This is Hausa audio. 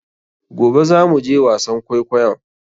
Gobe za mu je wasan kwaikoyon?